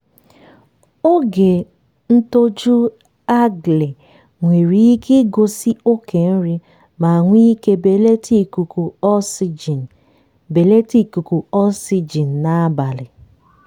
oge ntoju algae nwere ike igosi oke nri ma nwee ike belata ikuku oxygen belata ikuku oxygen n'abalị.